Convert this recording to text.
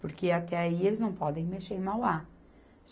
Porque até aí eles não podem mexer em Mauá.